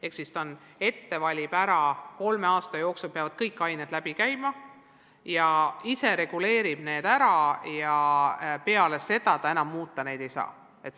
Ehk siis kool valib ainete tasemetööd ette ära ja peab kolme aasta jooksul kõik need läbi käima, kool ise reguleerib seda ja pärast ta oma plaani enam muuta ei saa.